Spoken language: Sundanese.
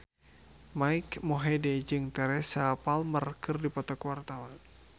Mike Mohede jeung Teresa Palmer keur dipoto ku wartawan